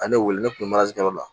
An ne wele ne kun bɛ la